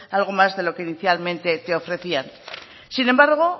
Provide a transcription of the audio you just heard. algo más de lo que inicialmente te ofrecían sin embargo